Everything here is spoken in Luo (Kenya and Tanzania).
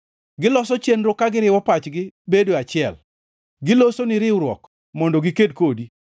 Giloso chenro ka giriwo pachgi bedo achiel, gilosoni riwruok mondo giked kodi.